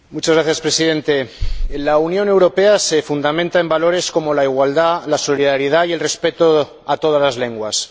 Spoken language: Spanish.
Señor Presidente, la Unión Europea se fundamenta en valores como la igualdad, la solidaridad y el respeto a todas las lenguas.